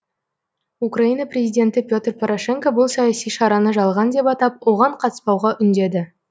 украина президенті петр порошенко бұл саяси шараны жалған деп атап оған қатыспауға үндеді